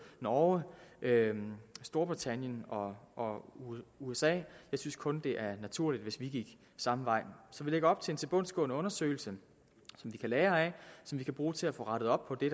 norge storbritannien og og usa jeg synes kun at det er naturligt hvis vi gik samme vej så vi lægger op til en tilbundsgående undersøgelse som vi kan lære af som vi kan bruge til at få rettet op på det